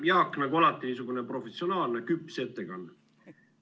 Jaak, nagu alati, niisugune professionaalne küps ettekanne.